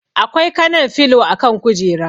Akwai kanan filo a kan kujera.